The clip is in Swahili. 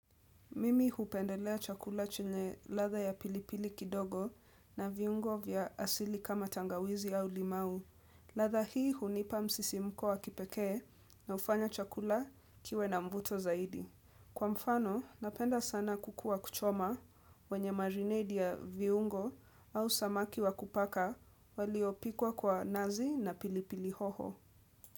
Mimi hupendelea chakula chenye latha ya pilipili kidogo na viungo vya asili kama tangawizi au limau. Latha hii hunipa msisimko wa kipekee na ufanya chakula kiwe na mvuto zaidi. Kwa mfano, napenda sana kuku wa kuchoma wenye marinade ya viungo au samaki wa kupaka waliopikwa kwa nazi na pilipili hoho.